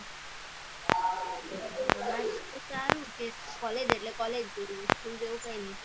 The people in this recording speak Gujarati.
અમારે તો સારું કે college એટલે college જેવું school જેવું કઈ નઈ.